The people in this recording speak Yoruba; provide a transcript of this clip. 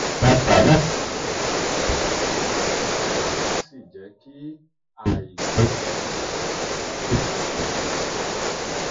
a gbà láti máa bá ara wa sọ̀rọ̀ déédéé ká má sì jẹ́ kí àibára-wa-sọ̀rọ̀ dá wàhálà sí àárín wa